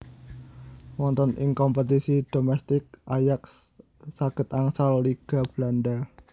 Wonten ing kompetisi domestik Ajax saged angsal Liga Belanda